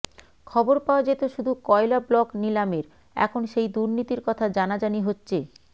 খবর পাওয়া যেত শুধু কয়লা ব্লক নিলামের এখন সেই দুর্নীতির কথা জানাজানি হচ্ছে